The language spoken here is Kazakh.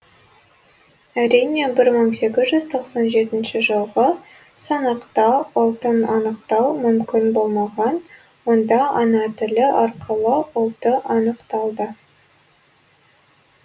әрине бір мың сегіз жүз тоқсан жетінші жылғы санақта ұлтын анықтау мүмкін болмаған онда ана тілі арқылы ұлты анықталды